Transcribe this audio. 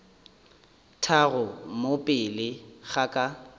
tharo mo pele ga ka